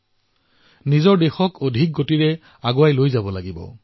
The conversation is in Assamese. আমি আমাৰ দেশক ক্ষীপ্ৰ গতিৰে আগুৱাই নিব লাগিব